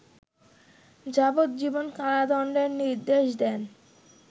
যাবজ্জীবন কারাদণ্ডের নির্দেশ দেন